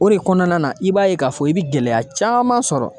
O de kɔnɔna na i b'a ye k'a fɔ i bi gɛlɛya caaman sɔrɔ